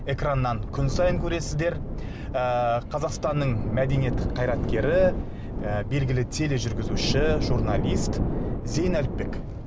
экраннан күн сайын көресіздер ыыы қазақстанның мәдениет қайраткері і белгілі тележүргізуші журналист зейін әліпбек